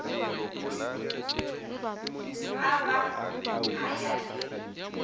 a ba a ya le